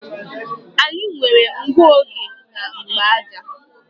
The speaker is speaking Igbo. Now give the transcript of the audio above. Anyị nwere ngụoge na mgbaaja